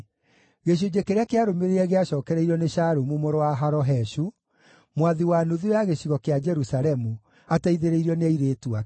Gĩcunjĩ kĩrĩa kĩarũmĩrĩire gĩacookereirio nĩ Shalumu mũrũ wa Haloheshu, mwathi wa nuthu ya gĩcigo kĩa Jerusalemu, ateithĩrĩirio nĩ airĩtu ake.